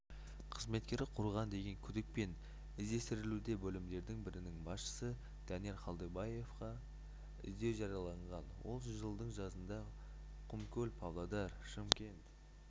қызметкері құрған деген күдікпен іздестірілуде бөлімдердің бірінің басшысы данияр қалдыбаевқа іздеу жарияланған ол жылдың жазында құмкөл-павлодар-шымкент